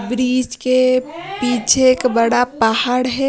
Bridge के पीछे एक बड़ा पहाड़ है।